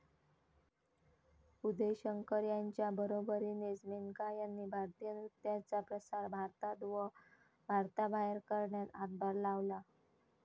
उदय शंकर यांच्या बरोबरीनेच मेनका यांनी भारतीय नृत्याचा प्रसार भारतात व भारताबाहेर करण्यात हातभार लावला